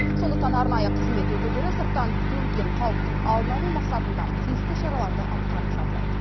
сондықтан арнайы қызмет өкілдері сырттан төнген қауіптің алдын алу мақсатында тиісті шараларды атқарып жатыр